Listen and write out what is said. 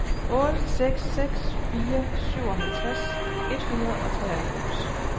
otte seks seks fire syvoghalvtreds et hundrede og treoghalvfems